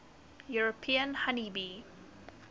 european honey bee